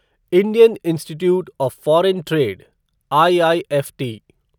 Indian institute of foreign trade IIFT